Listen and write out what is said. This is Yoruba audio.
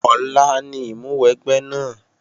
Ọ̀la ni ìmúwẹgbẹ́ náà